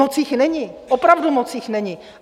Moc jich není, opravdu moc jich není.